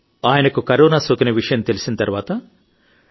అంతేకాదు మీ కారణంగా మేమందరం కూడా క్షేమంగా బయట పడగలమని ఆశిస్తున్నాను